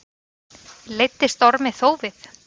Leiddist Ormi þófið.